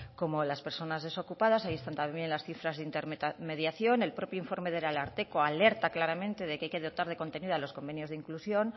como las personas desocupadas y ahí están también las cifras de intermediación el propio informe del ararteko alerta claramente de que hay que dotar de contenido a los convenios de inclusión